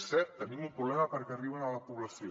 és cert tenim un problema perquè arribin a la població